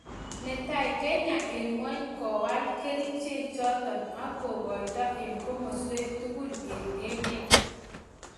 Netai Kenya en ingwany kwaal kerichek choto ak kokaito en komaswek tukul en emet.